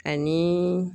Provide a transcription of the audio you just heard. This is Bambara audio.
Ani